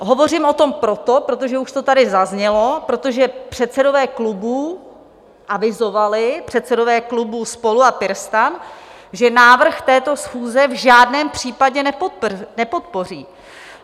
Hovořím o tom proto, protože už to tady zaznělo, protože předsedové klubů avizovali, předsedové klubů SPOLU a PirSTAN, že návrh této schůze v žádném případě nepodpoří.